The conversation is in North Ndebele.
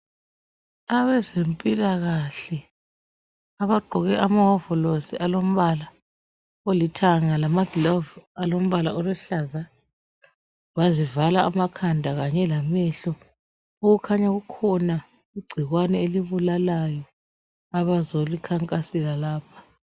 Abazempilakahle abagqoke amawovalosi olombala olithanga lamaglovu alombala oluhlaza bazivala amakhanda kanye lamehlo okukhanya kukhona igcikwane elibulalayo abazolikhankasela lapha